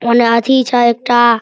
ओने अथि छो एकटा।